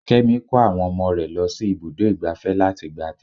Kémi kó àwọn ọmọ rẹ lọ sí ibùdó igbàfẹ́ láti gba àtẹ̀gùn.